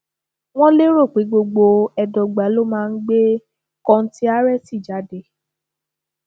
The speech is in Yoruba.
wọn lérò pé gbogbo ẹdọgba ló máa ń gbé kọńtíárẹtì jáde